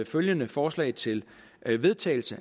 følgende forslag til vedtagelse